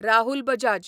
Rahul Bajaj